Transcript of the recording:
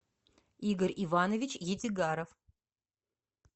игорь иванович етигаров